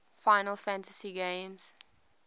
final fantasy games